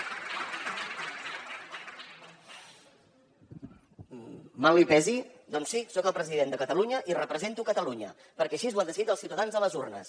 mal li pesi doncs sí soc el president de catalunya i represento catalunya perquè així ho han decidit els ciutadans a les urnes